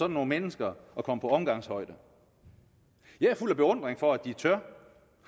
nogle mennesker at komme på omgangshøjde jeg er fuld af beundring for at de tør